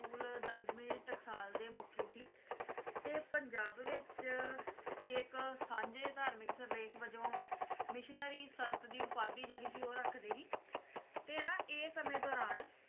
school Damdami Taksal ਦੇ ਮੁਖੀ ਸੀ ਤੇ ਪੰਜਾਬ ਦੇ ਵਿਚ ਇੱਕ ਸਾਂਝੇ ਧਾਰਮਿਕ ਸਿਰਲੇਖ ਵਜੋਂ ਮਿਸ਼ਨਰੀ ਸੰਤ ਦੀ ਉਪਾਧੀ ਜਿਹੜੀ ਸੀ ਉਹ ਰੱਖਦੇ ਸੀ ਤੇ ਨਾ ਇਹ ਸਮੇਂ ਦੌਰਾਨ